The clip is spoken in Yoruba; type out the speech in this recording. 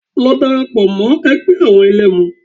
Lọ dara pọ̀ mọ́ ẹgbẹ́ àwọn àwọn ẹ̀lẹ́mu